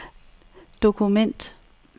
dokument